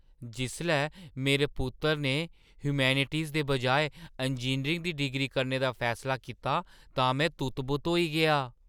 जिसलै मेरे पुत्तरै ने ह्यूमैनिटीज़ दे बजाए इंजीनियरिंग दी डिग्री करने दा फैसला कीता, तां में तुत्त-बुत्त होई गेआ।